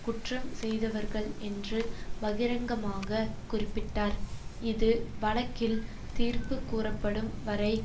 குற்றம் செய்தவர்கள் என்று பகிரங்கமாகக் குறிப்பிட்டார் இது வழக்கில் தீர்ப்பு கூறப்படும் வரை